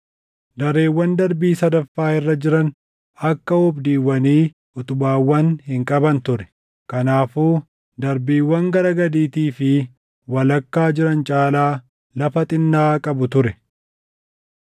Dareewwan darbii sadaffaa irra jiran akka oobdiiwwanii utubaawwan hin qaban ture; kanaafuu darbiiwwan gara gadiitii fi walakkaa jiran caalaa lafa xinnaa qabu ture.